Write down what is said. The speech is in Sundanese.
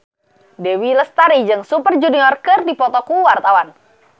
Dewi Lestari jeung Super Junior keur dipoto ku wartawan